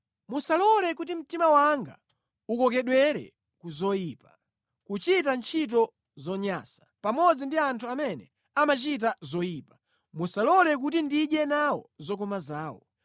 Musalole kuti mtima wanga ukokedwere ku zoyipa; kuchita ntchito zonyansa pamodzi ndi anthu amene amachita zoyipa; musalole kuti ndidye nawo zokoma zawo.